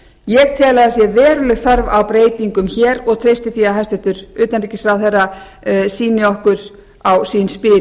ég tel að það sé veruleg þörf á breytingum hér og treysti því að hæstvirtur utanríkisráðherra sýni okkur á sín spil